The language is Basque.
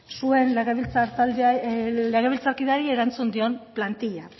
zuen legebiltzarkideari erantzun dion plantilla